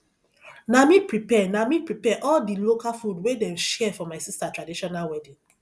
na me prepare na me prepare all di local food wey dem share for my sister traditional wedding